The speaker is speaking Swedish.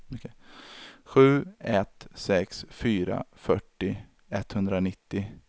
sju ett sex fyra fyrtio etthundranittio